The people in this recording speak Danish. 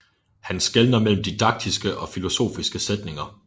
Han skelner mellem didaktiske og filosofiske sætninger